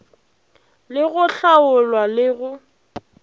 le go hlaola le go